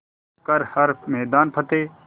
कर हर मैदान फ़तेह